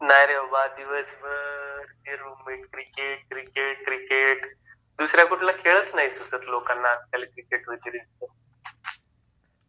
नाही रे बाबा, दिवसभर हे रूममेट, क्रिकेट क्रिकेट क्रिकेट, दुसरा कुठला खेळच नाही सुचत लोकांना आजकाल क्रिकेट व्यतिरिक्त.